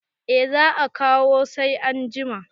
eh za a kawo sai an jima